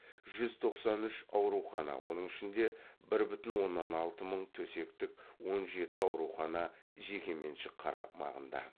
жүз тоқсан үш аурухана оның ішінде бір бүтін оннан алты мың төсектік он жеті аурухана жеке меншік қармағында